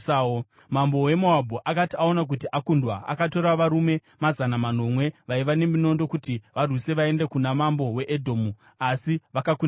Mambo weMoabhu akati aona kuti akundwa, akatora varume mazana manomwe vaiva neminondo kuti varwise vaende kuna Mambo weEdhomu, asi vakakundikana.